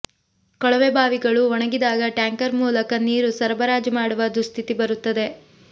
ಕೊಳವೆ ಬಾವಿಗಳೂ ಒಣಗಿದಾಗ ಟ್ಯಾಂಕರ್ ಮೂಲಕ ನೀರು ಸರಬರಾಜು ಮಾಡುವ ದುಸ್ಥಿತಿ ಬರುತ್ತದೆ